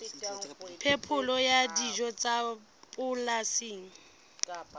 phepelo ya dijo tsa polasing